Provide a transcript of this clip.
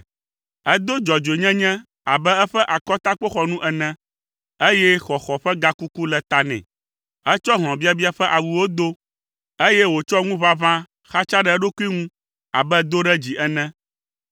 Edo dzɔdzɔenyenye abe eƒe akɔtakpoxɔnu ene, eye xɔxɔ ƒe gakuku le ta nɛ. Etsɔ hlɔ̃biabia ƒe awuwo do, eye wòtsɔ ŋuʋaʋã xatsa ɖe eɖokui ŋu abe doɖedzi ene.